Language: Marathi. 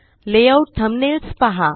लेआउट थंबनेल्स पहा